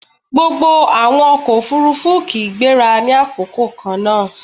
Gbogbo àwọn ọkọ̀-òfurufú kì í gbéra ní àkókò kannáà